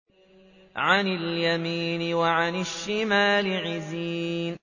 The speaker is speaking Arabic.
عَنِ الْيَمِينِ وَعَنِ الشِّمَالِ عِزِينَ